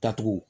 Datugu